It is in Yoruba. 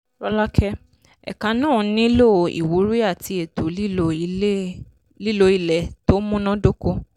rọ́lákẹ́: ẹ̀ka náà nílò ìwúrí àti ètò lílo ilẹ̀ tó múná dóko.